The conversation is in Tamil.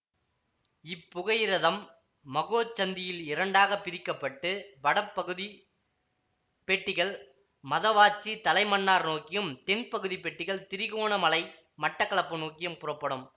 இப்புகையிரதம் மாஹோச்சந்தியில் இரண்டாக பிரிக்க பட்டு வடபகுதிப் பெட்டிகள் மதவாச்சி தலைமன்னார் நோக்கியும் தென்பகுதிப் பெட்டிகள் திரிகோணமலை மட்டக்களப்பு நோக்கியும் புறப்படும்